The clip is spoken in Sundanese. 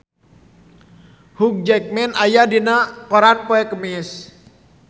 Hugh Jackman aya dina koran poe Kemis